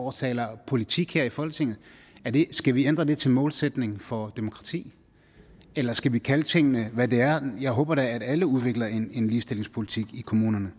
og taler politik her i folketinget skal vi ændre det til målsætning for demokrati eller skal vi kalde tingene hvad de er jeg håber da at alle udvikler en ligestillingspolitik i kommunerne